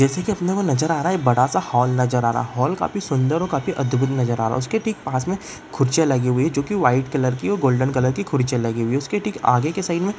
जैसे की अपने को नजर आ रहा है बड़ा-सा हॉल नजर आ रहा हॉल काफी सुंदर काफी अद्भुत नजर आ रहा | उसके ठीक पास में कुर्सियां लगी हुई हैं जो की वाइट कलर की और गोल्डन कलर की कुर्सियां लगी हुई है| उसके ठीक आगे के साइड में --